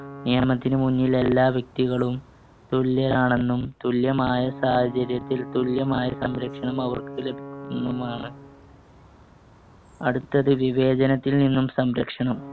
നിയമത്തിനുമുന്നിൽ എല്ലാ വ്യക്തികളും തുല്യരാണെന്നും തുല്യമായ സാഹചര്യത്തിൽ തുല്യമായ സംരക്ഷണം അവർക്ക് ലഭിക്കുന്നുമാണ്. അടുത്തത് വിവേചനത്തിൽ നിന്നും സംരക്ഷണം.